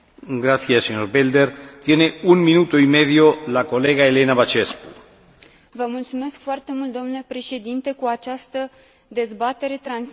Prin această dezbatere, transmitem un mesaj puternic statelor membre, cu doar o lună înainte să își prezinte propria strategie Comisiei Europene.